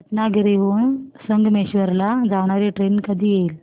रत्नागिरी हून संगमेश्वर ला जाणारी ट्रेन कधी येईल